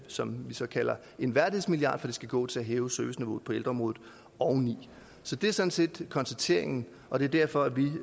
som vi så kalder en værdighedsmilliard fordi den skal gå til at hæve serviceniveauet på ældreområdet oveni så det er sådan set konstateringen og det er derfor